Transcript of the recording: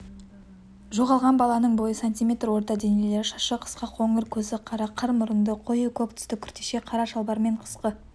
жоғалған баланың бойы сантиметр орта денелі шашы қысқа қоңыр көзі қара қыр мұрынды қою көк түсті күртеше қара шалбар мен қысқы